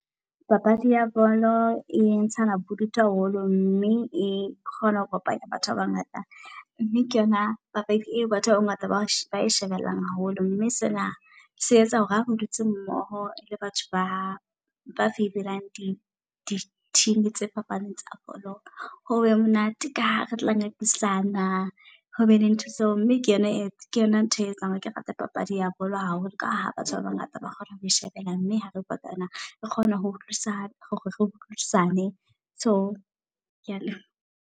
Papadi ya bolo e ntshana bodutu haholo, mme e kgona ho kopanya batho ba bangata mme ke yona papadi eo batho ba bangata ba shebellang haholo. Mme sena se etsa hore ha re dutse mmoho le batho ba ba favor-elang di di-team tse fapaneng tsa bolo. Hobe monate ka ha re tla ngangisana ho be le ntho tseo. Mme ke yona ke yona ntho e etsang ke yona ntho e etsang hore ke rate papadi ya bolo haholo. Ka ha batho ba bangata ba kgona ho shebella, mme ha re kopana, re kgona ho utlwisisa hore re utlwisisane. So kea leboha.